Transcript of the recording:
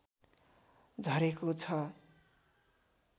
झरेको छ